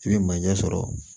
I bɛ manje sɔrɔ